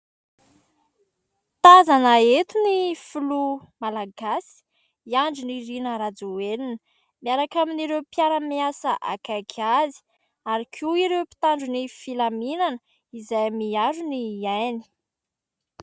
Tazana eto ny filoha Malagasy i Andry Nirina Rajoelina miaraka amin'ireo mpiara-miasa akaiky azy ary koa ireo mpitandro ny filaminana izay miaro ny ainy.